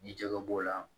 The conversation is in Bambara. Ni jɛgɛ b'o la